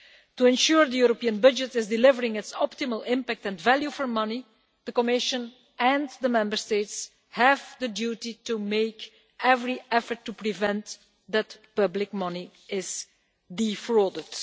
To ensure the European budget is delivering its optimal impact and value for money, the Commission and the Member States have the duty to make every effort to prevent public money from being defrauded.